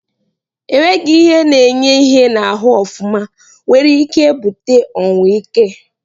Enweghi ihe na enye ihe na ahụ ofụma nwere ike ebute ọnwụ ike.